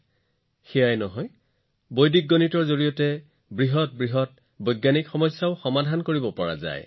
কেৱল এয়াই নহয় বৈদিক গণিতৰ দ্বাৰা আপোনালোকে ডাঙৰ বৈজ্ঞানিক সমস্যাও সমাধান কৰিব পাৰে